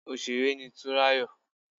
Òsèré ni Túnráyọ̀